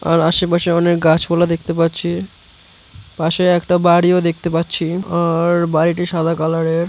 আর আশেপাশে অনেক গাছপালা দেখতে পাচ্ছি পাশে একটা বাড়িও দেখতে পাচ্ছি আর বাড়িতে সাদা কালারের।